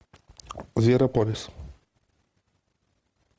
зверополис